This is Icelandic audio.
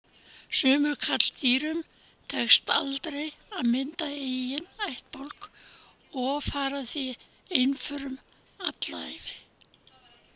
Sumum karldýrum tekst aldrei að mynda eiginn ættbálk og fara því einförum alla ævi.